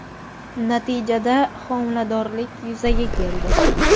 Natijada homiladorlik yuzaga keldi.